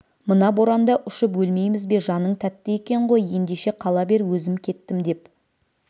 мына боранда ұшып өлмейміз бе жаның тәтті екен ғой ендеше қала бер өзім кеттім деп